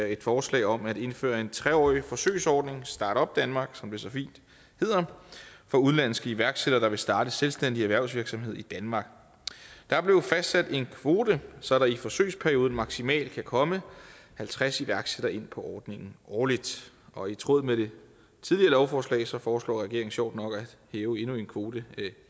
et forslag om at indføre en tre årig forsøgsordning start up denmark som det så fint hedder for udenlandske iværksættere der vil starte selvstændig erhvervsvirksomhed i danmark der blev fastsat en kvote så der i forsøgsperioden maksimalt kan komme halvtreds iværksættere ind på ordningen årligt og i tråd med det tidligere lovforslag foreslår regeringen sjovt nok at hæve endnu en kvote